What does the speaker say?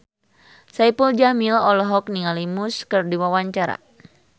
Saipul Jamil olohok ningali Muse keur diwawancara